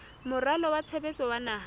moralo wa tshebetso wa naha